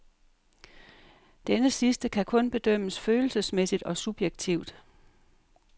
Denne sidste kan kun bedømmes følelsesmæssigt og subjektivt.